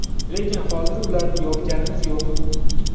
Lekin hozir ularni yopganimiz yo‘q.